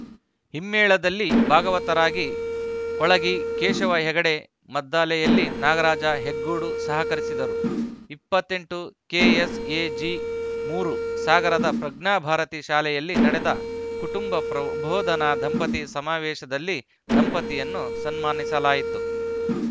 ಹಿಮ್ಮೇಳದಲ್ಲಿ ಭಾಗವತರಾಗಿ ಕೊಳಗಿ ಕೇಶವ ಹೆಗಡೆ ಮದ್ದಳೆಯಲ್ಲಿ ನಾಗರಾಜ ಹೆಗ್ಗೋಡು ಸಹಕರಿಸಿದರು ಇಪ್ಪತ್ತ್ ಎಂಟು ಕೆಎಸ್‌ಎಜಿ ಮೂರು ಸಾಗರದ ಪ್ರಜ್ಞಾಭಾರತಿ ಶಾಲೆಯಲ್ಲಿ ನಡೆದ ಕುಟುಂಬ ಪ್ರಬೋಧನ ದಂಪತಿ ಸಮಾವೇಶದಲ್ಲಿ ದಂಪತಿಯನ್ನು ಸನ್ಮಾನಿಸಲಾಯಿತು